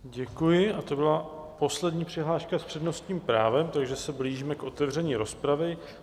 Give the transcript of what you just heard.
Děkuji a to byla poslední přihláška s přednostním právem, takže se blížíme k otevření rozpravy.